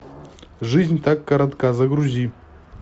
жизнь так коротка загрузи